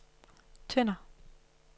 Tønder